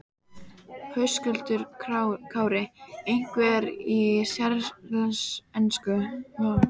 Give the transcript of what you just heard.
Höskuldur Kári: Einhverju séríslensku?